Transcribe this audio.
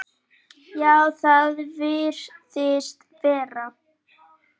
Já, það virðist vera.